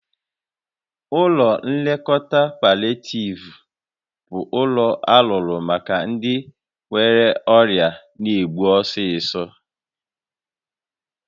Ụlọ nlekọta palịetiiv bụ ụlọ alụrụ maka ndị nwere ọrịa na-egbu egbu ọsọsọ